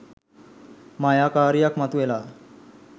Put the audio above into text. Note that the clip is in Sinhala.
මායාකාරියක් මතු වෙලා